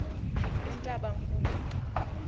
entabankulu